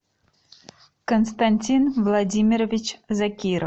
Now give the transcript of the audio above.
константин владимирович закиров